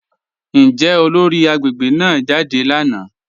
Njẹ́ olóri agbegbe náà jádẹ lánà?